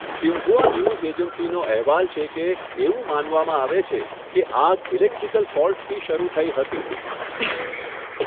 Xinhua news એજન્સીનો અહેવાલ છે કે, એવું માનવામાં આવે છે કે આગ ઇલેક્ટ્રિકલ ફોલ્ટથી શરૂ થઈ હતી.